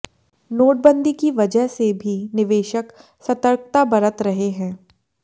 नोटबंदी की वजह से भी निवेशक सतर्कता बरत रहे हैं